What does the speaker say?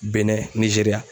Bɛnɛ nizeriya